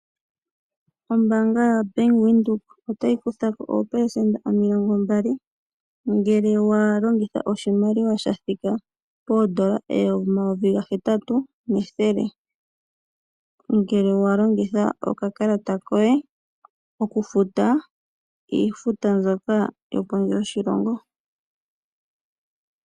Ombaanga yobank Windhoek otayi kutha ko opelesenda 20 ngele walongitha oshimaliwa shathika poondola omayovi gahetatu nethele ngele wa longitha okakalata koye okufuta iifuta mbyoka yo kondje yoshilongo.